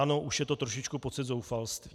Ano, už je to trošičku pocit zoufalství.